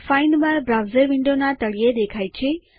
find bar browser વિન્ડોના તળિયે દેખાય છે